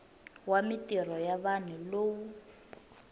wa mintirho ya vanhu lowu